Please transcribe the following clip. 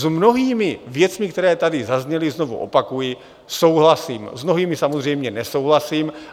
S mnohými věcmi, které tady zazněly, znovu opakuji, souhlasím, s mnohými samozřejmě nesouhlasím.